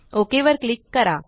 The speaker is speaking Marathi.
ओक वर क्लिक करा